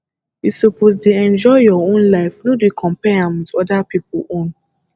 you suppose dey enjoy your own life no dey compare am wit oda pipo own